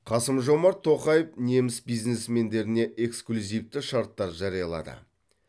қасым жомарт тоқаев неміс бизнесмендеріне эксклюзивті шарттар жариялады